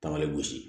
Taamalen gosi